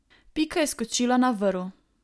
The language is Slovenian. Pika je skočila na vrv.